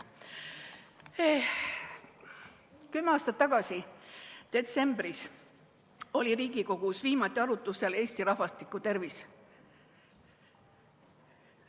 Kümme aastat tagasi detsembris oli viimati Riigikogus arutlusel Eesti rahvastiku tervis.